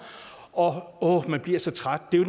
åh man bliver så træt det